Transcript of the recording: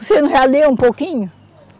Você não já lê um pouquinho?